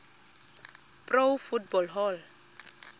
pro football hall